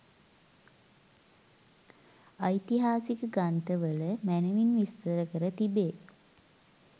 ඓතිහාසික ග්‍රන්ථවල මැනැවින් විස්තර කර තිබේ.